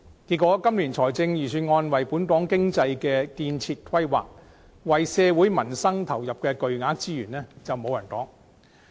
結果，今年的預算案為本港經濟作出的建設規劃，以及為社會民生投入的巨額資源卻無人提及。